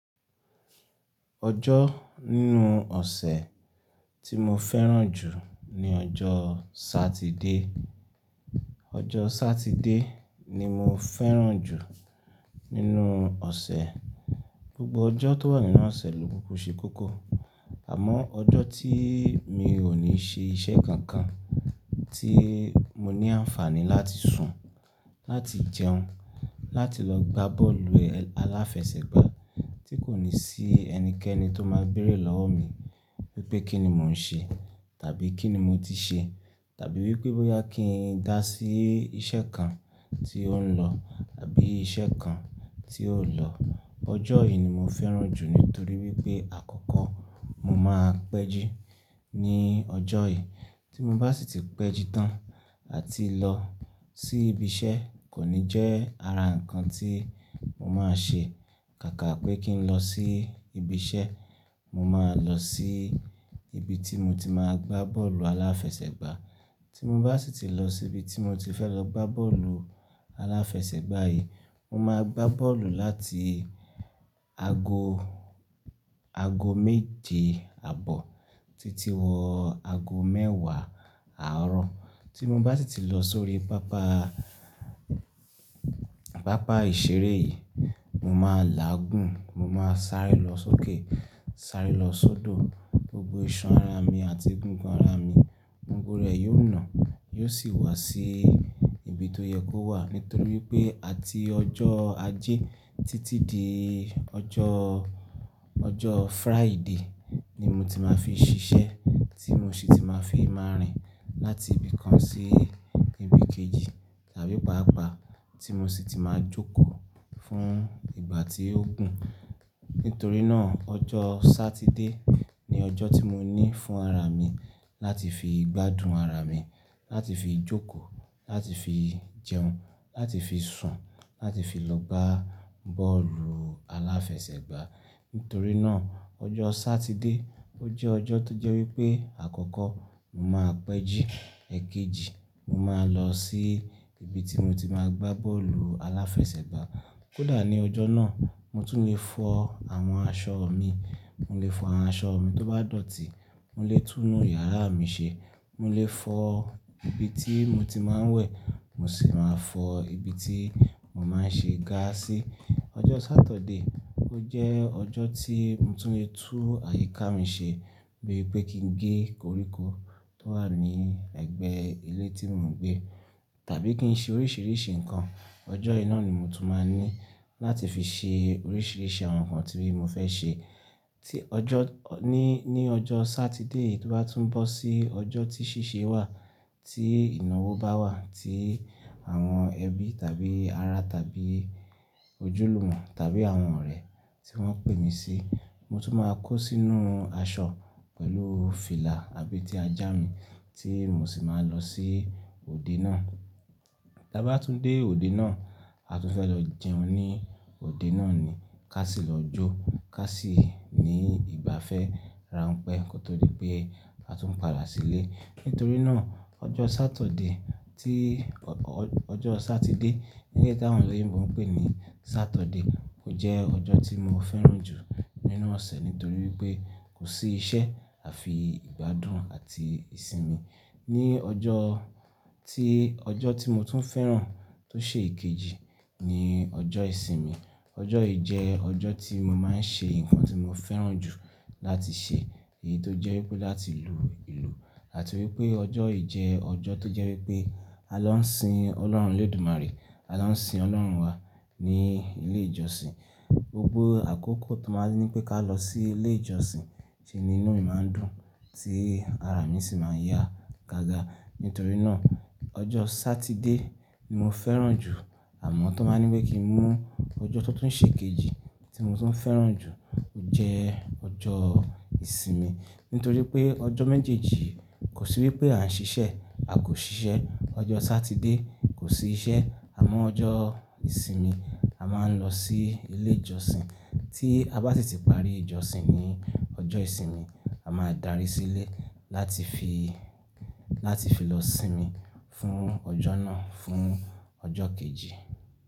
Ọjọ́ nínú ọ̀sẹ̀ tí mo fẹ́ràn jù ni ọjọ́ Satide. Ọjọ́ Satide ni mo fẹ́ràn jù nínú ọ̀sẹ̀. Gbogbo ọjọ́ tó wà nínú ọ̀sẹ̀ ló o ṣe kókó. Àmọ́ ọjọ́ tí mi ò ní ṣe iṣẹ́ kankan, tí mo ní àǹfààní láti sùn, láti jẹun, láti lọ gbá bọ́ọ̀lù aláfẹsẹ̀gbá tí kò ní sí ẹnikẹ́ni tó máa béèrè lọ́wọ́ mi wípé kíni mò ń ṣe tàbí kíni mo ti ṣe tàbí wípé bóyá kí n dá sí iṣẹ́ kan tí ó ń lọ tàbí iṣẹ́ kan tí ó lọ. Ọjọ́ yìí ni mo fẹ́ràn jù nítorí wípé àkọ́kọ́ mo máa pẹ́ jí ní ọjọ́ yìí tí mo bá sì ti pẹ́ jí tán àti lọ sí ibi iṣẹ́ kò ní jẹ́ ara ǹkan tí mo máa ṣe. Kàkà pé kí n lọ sí ibi iṣẹ́, mo máa lọ sí ibi tí mo ti máa gbá bọ́ọ̀lù aláfẹsẹ̀gbá. Tí mo bá sì ti lọ sí ibi tí mo ti fẹ́ lọ gbá bọ́ọ̀lù aláfẹsẹ̀gbá yìí, mo máa gbá bọ́ọ̀lù láti ago, ago méje àbọ̀ títí wọ́ ago mẹ́wàá àárọ̀. Tí mo bá sì ti lọ sórí pápá, pápá ìṣeré yìí, mo máa láágùn, mo máa sáré lọ sókè, sáré lọ sódò. Gbogbo ìṣan ara mi àti egungùn ara mi, gbogbo rẹ̀ yóò nà, yóò sì wá sí ibi tó yẹ kó wà nítorí pé àti ọjọ́ Ajé títí di ọjọ́, ọjọ́ Fraídé ni mo ti máa fi ṣiṣẹ́ tí mo sì ti máa fi máa rìn láti ibi kan sí ibi kejì tàbí pàápàá tí mo sì ti máa jókòó fún ìgbà tí ó gùn. Nítorí náà, ọjọ́ Satide ni ọjọ́ tí mo ní fún ara mi láti fi gbádùn ara mi, láti fi jókòó, láti fi jẹun, láti fi sùn, láti fi lọ gbá bọ́ọ̀lù aláfẹsẹ̀gbá. Nítorí náà, ọjọ́ Satide ó jẹ́ ọjọ́ tó jẹ́ wípé àkọ́kọ́ mo máa pẹ́ jí, èkejì mo máa lọ sí ibi tí mo ti máa gbá bọ́ọ̀lù aláfẹsẹ̀gbá. Kódà ní ọjọ́ náà mo tún lè fọ àwọn aṣọ mi, mo lè fọ àwọn aṣọ mi tó bá dọ̀tí, mo lè tún'nu yàrá mi ṣe, mo lè fọ ibi tí mo ti máa ń wẹ̀, mo sì máa fọ ibi tí mo máa ń ṣe gà sí. Ọjọ́ Satọ̀de ó jẹ́ ọjọ́ tí mo tún lè tún àyíká mi ṣe bíi pé kí n gé koríko tó wà ní ẹ̀gbẹ́ ilé tí mò ń gbé tàbí kí n ṣe oríṣìíríṣìí ǹkan. Ọjọ́ yì ná ni mo tún máa n ní láti fi ṣe oríṣìíríṣìí àwọn ǹkan tí mo fẹ́ ṣe. Tí ọjọ́, ní, ní ọjọ́ Satide yìí tó bá tún bọ́ sí ọjọ́ tí ṣíṣe wà, tí ìnáwó bá wà tí àwọn ẹbí tàbí ará tàbí ojúlùmọ̀ tàbí àwọn ọ̀rẹ́ tí wọ́n pè mi sí, mo tún máa kó sínú aṣọ pẹ̀lú fìlà àbeti ajá mi tí mo sì máa lọ sí òde náà. Tí a bá tún dé òde náà, a tún fẹ́ lọ jẹun ní òde náà ni, ká sì lọ jó, ká sì ní ìgbafẹ́ ráńpẹ́ kó tó di pé a tún padà sílé. Nítorí náà, ọjọ́ Satọ̀de tí, ọjọ́ Satide ní eléyìí táwọn olóyìnbó n pè ní Satọ̀de ó jẹ́ ọjọ́ tí mo fẹ́ràn jù nínú ọ̀sẹ̀ nítorí wípé kò sí iṣẹ́ àfi ìgbádùn àti ìsinmi. Ni ọjọ́ tí, ọjọ́ tí mo tún fẹ́ràn tó ṣe èkejì ni ọjọ́ ìsinmi. Ọjọ́ yìí jẹ́ ọjọ́ tí mo máa ń ṣe ǹkan tí mo fẹ́ràn jù láti ṣe èyí tó jẹ́ wípé láti lu ìlù àti wípé ọjọ́ yìí jẹ́ ọjọ́ tó jẹ́ wípé a lọ n sin Ọlọ́run Olódùmarè, a lọ sin Ọlọ́run wa ní ilé ìjọsìn. Gbogbo àkókò tó máa ń ní pé ká lọ sí ilé ìjọsìn ṣe nínú mi máa ń dùn tí ara mi sì máa ń yá gágá. Nítorí náà, ọjọ́ Satide ni mo fẹ́ràn jù àmọ́ tó máa ń ní wípé kí n mú ọjọ́ tó tún ṣe kejì tí mo tún fẹ́ràn jù ó jẹ́ ọjọ́ ìsinmi. Nítorí pé ọjọ́ méjèèjì kò sí wípé à ń ṣiṣẹ́, a kò ṣiṣẹ́. Ọjọ́ Satide kò sí iṣẹ́ àmọ́ ọjọ́ ìsinmi a máa ń lọ sí ilé ìjọsìn. Tí a bá sì ti parí ìjọsìn ní ọjọ́ ìsinmi, a máa darí sílé láti fi, láti fi lọ sinmi fún ọjọ́ náà, fún ọjọ́ kejì.